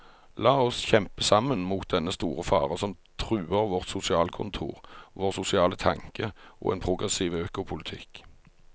La oss kjempe sammen mot dennne store fare som truer vårt sosialkontor, vår sosiale tanke og en progressiv økopolitikk.